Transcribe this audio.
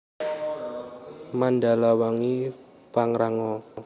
Mandalawangi Pangrango